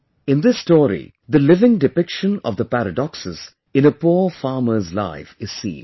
In this story, the living depiction of the paradoxes in a poor farmer's life is seen